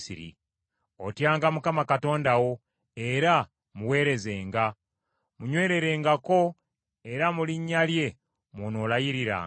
Otyanga Mukama Katonda wo era muweerezenga. Munywererengako, era mu linnya lye mw’onoolayiriranga.